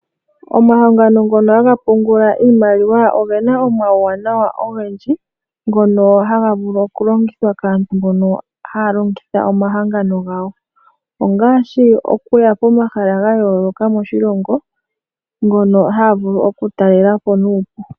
Omahangsno ngono hsgs pungull